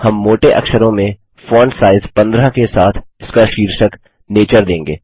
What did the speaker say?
हम मोटे अक्षरों में फॉन्ट साइज़ 15 के साथ इसका शीर्षक नेचर देंगे